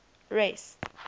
rest